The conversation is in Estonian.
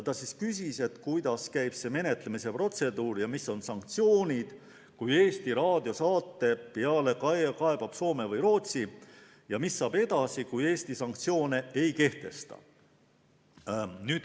Ta küsis, kuidas see menetlemise protseduur käib ja mis on sanktsioonid, kui näiteks Eesti Raadio saate peale kaebab Soome või Rootsi, ja mis saab edasi, kui Eesti sanktsioone ei kehtesta.